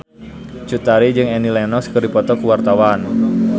Cut Tari jeung Annie Lenox keur dipoto ku wartawan